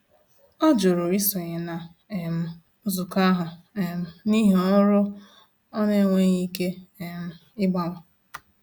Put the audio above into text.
Ọ jụrụ isonye na um nzukọ ahụ um n’ihi ọrụ ọ n'enweghi ike um ịgbanwe.